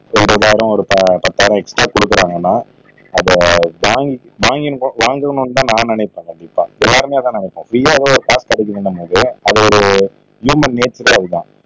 ஒரு இருபதாயிரம் ஒரு பத்தாயிரம் எக்ஸ்ட்ரா குடுக்குறாங்கன்னா அத வாங்கி வாங்கணும்னு தான் நான் நினைப்பன் கண்டிப்பா எல்லாருமே அதான் நினைப்போம் காசு கிடைக்குற என்ற மாதிரியே அது ஒரு தான்